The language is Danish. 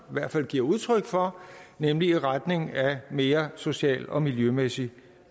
hvert fald giver udtryk for nemlig i retning af mere social og miljømæssig